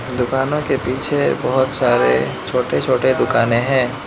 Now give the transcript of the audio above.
दुकानों के पीछे बहोत सारे छोटे छोटे दुकानें है।